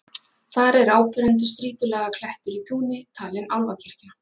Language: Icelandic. Þar er áberandi strýtulaga klettur í túni, talinn álfakirkja.